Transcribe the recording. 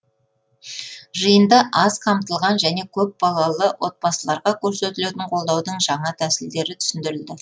жиында аз қамтылған және көпбалалы отбасыларға көрсетілетін қолдаудың жаңа тәсілдері түсіндірілді